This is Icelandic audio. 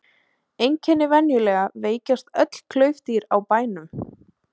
Einkenni Venjulega veikjast öll klaufdýr á bænum.